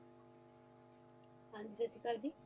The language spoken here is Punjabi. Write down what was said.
ਹਾਂਜੀ ਸਤਸ਼੍ਰੀਅਕਲ ਜੀ